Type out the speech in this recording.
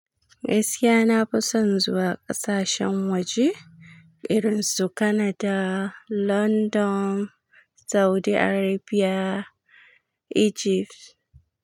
Gaskiya na fi son zuwa ƙasashen waje irin su Canada, London, Saudi Arabia, Egypt.